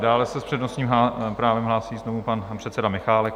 Dále se s přednostním právem hlásí znovu pan předseda Michálek.